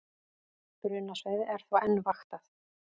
Brunasvæðið er þó enn vaktað